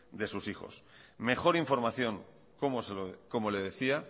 de sus hijos mejor información como le decía